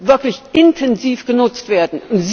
wirklich intensiv genutzt werden.